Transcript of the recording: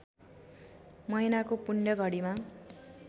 महिनाको पुण्य घडीमा